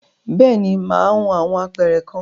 Bẹ́ẹ̀ni, mà á hun awọn apẹ̀rẹ̀ kan.